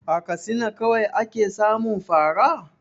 A Katsina kawai ake samun fa ra?